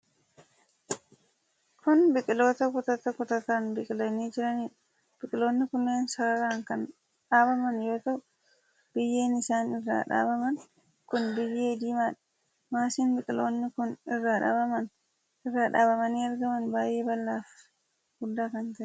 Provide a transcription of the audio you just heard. Kun biqiloota kutata kutataan biqilanii jiraniidha. Biqiloonni kunneen sararaan kan dhaabaman yoo ta'u biyyeen isaan irra dhaabaman kun biyyee diimaadha. Maasiin biqiloonni kun irra dhaabamanii argaman baay'ee bal'aa fi guddaa kan ta'eedha.